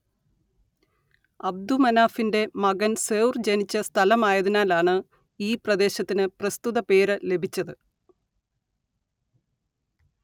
അബ്ദുമനാഫിന്റെ മകൻ സൌർ ജനിച്ച സ്ഥലമായതിനാലാണ് ഈ പ്രദേശത്തിന് പ്രസ്തുത പേര് ലഭിച്ചത്